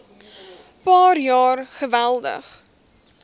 paar jaar geweldig